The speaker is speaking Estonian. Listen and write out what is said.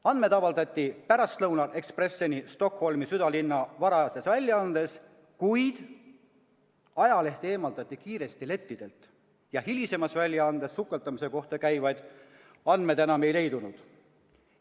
Andmed avaldati pärastlõunal Expresseni Stockholmi südalinna varajases väljaandes, kuid ajaleht eemaldati kiiresti lettidelt ja hilisemas väljaandes sukeldumise kohta käivaid andmeid enam ei leidunud.